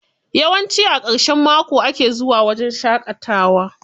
Yawanci a ƙarshen mako ake zuwa wajen shaƙatawa.